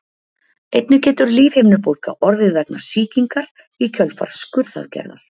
einnig getur lífhimnubólga orðið vegna sýkingar í kjölfar skurðaðgerðar